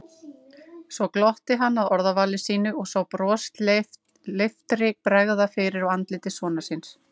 Svo glotti hann að orðavali sínu og sá brosleiftri bregða fyrir á andliti sonar síns.